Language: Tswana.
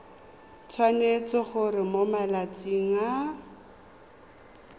tshwanetse gore mo malatsing a